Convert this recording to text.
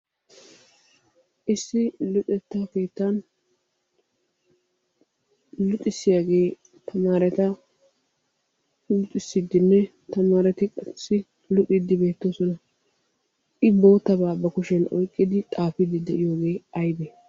Issi luxetta keettan luxissiyaagee tamaareta luxissiiddinne tamaareti qassi luxiiddi beettoosona. I boottabaa ba kushiyan oyqqidi xaafiiddi de"iyoogee aybee?